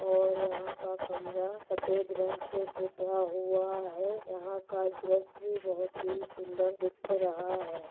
और यहाँ का कमरा सफ़ेद रंग से पुता हुआ है। यहाँ का दृश्य बोहोत ही सुंदर दिख रहा है।